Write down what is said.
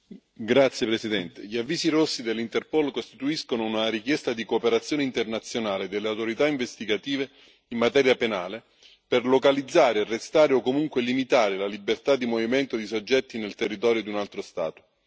Signora Presidente, onorevoli colleghi, gli avvisi rossi dell'Interpol costituiscono una richiesta di cooperazione internazionale delle autorità investigative in materia penale per localizzare e arrestare, o comunque limitare la libertà di movimento, di soggetti nel territorio di un altro Stato.